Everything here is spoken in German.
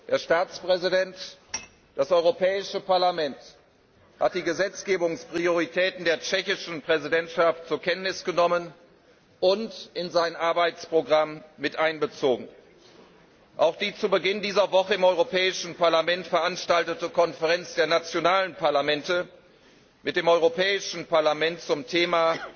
Herr Staatspräsident, das Europäische Parlament hat die Gesetzgebungsprioritäten der tschechischen Präsidentschaft zur Kenntnis genommen und in sein Arbeitsprogramm miteinbezogen. Auch die zu Beginn dieser Woche im Europäischen Parlament veranstaltete Konferenz der nationalen Parlamente mit dem Europäischen Parlament zum Thema